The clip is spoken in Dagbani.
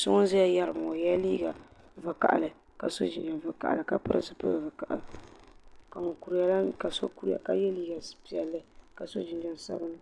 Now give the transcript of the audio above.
So ŋun zeya geriba ŋɔ, o yela liiga vakahili ka so jinjam vakahi ka pili zipil vakahi ka so kuriya ka ye liiga pielli ka so jinjam sabinli.